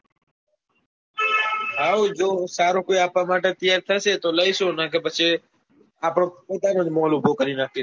હા હું જોવું સારું કોઈ આપણા માટે તૈયાર થશે તો લઇશું નકા પછી આપણો પોતાનોજ મોલ ઉભો કરી નાખીશું.